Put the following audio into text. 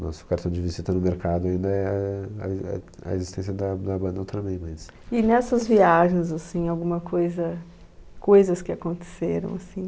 Nosso cartão de visita no mercado ainda é a e a existência da da banda Ultraman, mas... E nessas viagens, assim, alguma coisa, coisas que aconteceram, assim?